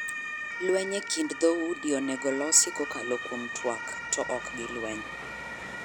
Lweny e kind dho udi onego olosi kakolo kuom tuak to ok gi lweny.